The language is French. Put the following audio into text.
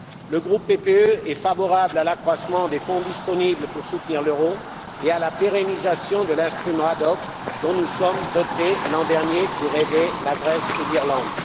Le groupe PPE est favorable à l'accroissement des fonds disponibles pour soutenir l'euro et à la pérennisation de l'instrument ad hoc dont nous nous sommes dotés, l'an dernier, pour aider la Grèce et l'Irlande.